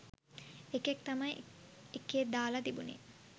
එකෙක් තමයි එකේ දාල තිබුනේ